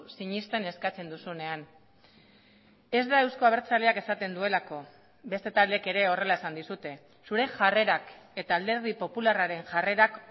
sinesten eskatzen duzunean ez da euzko abertzaleak esaten duelako beste taldeek ere horrela esan dizute zure jarrerak eta alderdi popularraren jarrerak